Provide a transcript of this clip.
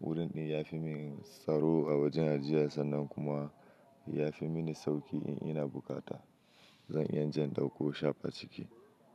wurin ɗin ya fi mini tsaro a wajen ajiye sannan kuma ya fi mini sauƙi in ina bukata, zan iya in je in ɗauko shaf a ciki.